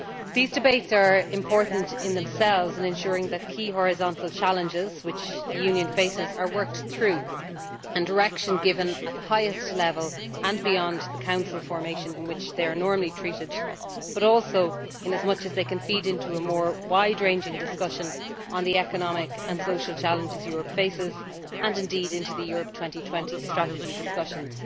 These debates are important in themselves in ensuring that key horizontal challenges that the Union faces are worked through, and that direction is given at the highest level, and beyond the Council formation in which they are normally treated, but also in as much as they can feed into a more wide ranging discussion on the economic and social challenges Europe faces and, indeed, into the Europe 2020 strategy discussions.